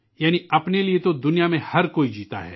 اس کا مطلب ہے، اس دنیا میں ہر کوئی اپنے لیے جیتا ہے